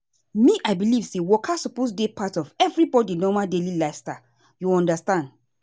me i believe say waka suppose dey part of everybody normal daily lifestyle you understand.